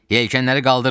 Yelkənləri qaldırın.